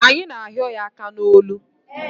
Anyị na ahịo ya aka n'olu